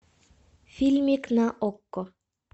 фильмик на окко